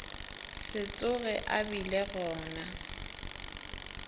se tsoge a bile gona